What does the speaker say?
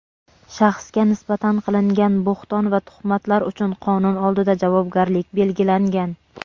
shaxsga nisbatan qilingan bo‘hton va tuhmatlar uchun qonun oldida javobgarlik belgilangan.